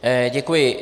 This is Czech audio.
Děkuji.